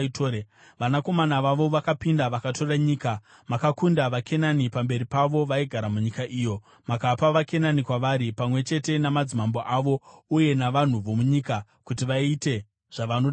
Vanakomana vavo vakapinda vakatora nyika. Makakunda vaKenani pamberi pavo, vaigara munyika iyo; makapa vaKenani kwavari, pamwe chete namadzimambo avo uye navanhu vomunyika, kuti vaite zvavanoda navo.